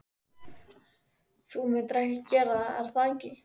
Þú myndir gera það, er það ekki?